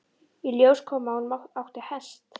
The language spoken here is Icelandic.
Í ljós kom að hún átti hest.